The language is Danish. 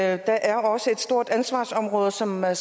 er der er også et stort ansvarsområde som er